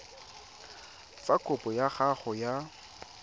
fa kopo ya gago ya